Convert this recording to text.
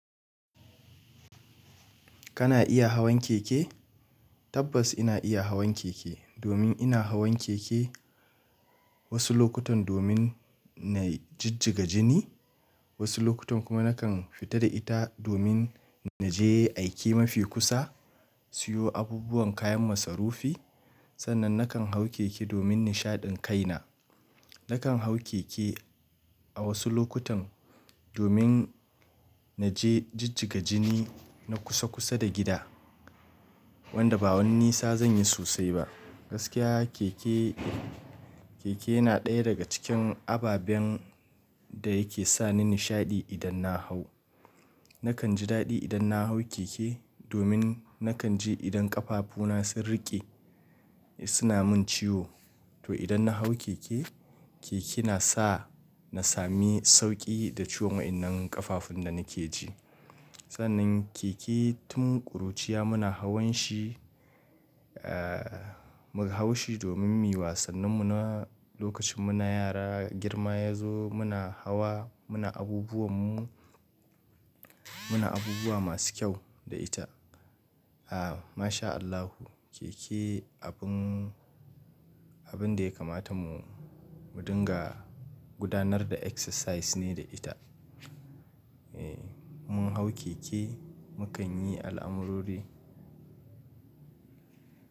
Kana iya hawan keke? Tabbas ina iya hawan keke domin ina hawan keke wasu lokutan domin na jijjiga jini, wasu lokutan kuma nakan fita da ita domin na je aiki mafi kusa, siyo abubuwan kayan masarufi. Sannan nakan hau keke domin nishaɗin kaina. Nakan hau keke a wasu lokutan domin na je jijjiga jini na kusa kusa da gida wanda ba wani nisa zan yi sosai ba. Gaskiya keke, keke yana ɗaya daga cikin ababen da yake sa ni nishaɗi idan na hau. Nakan ji daɗi idan na hau keke domin nakan ji idan ƙafafuna sun riƙe suna min ciwo. To idan na hau keke, keke na sa na sami sauƙi da ciwon wannan ƙafafun da nake ji. Sannan keke tun ƙuruciya muna hawan shi, eh muna hawan shi domin mu yi wasannin mu lokacin muna yara. Girma ya zo muna hawa muna abubuwan mu, muna abubuwa masu kyau da ita. A ma sha Allahu, keke abin da ya kamata mu, mu dinga gudanar da exercise ne da ita. Eh mun hau keke mu kan yi al'amurori.